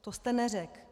To jste neřekl.